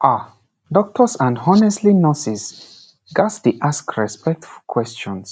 ah doctors and honestly nurses ghats dey ask respectful questions